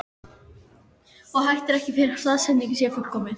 Og hættir ekki fyrr en staðsetningin er fullkomin.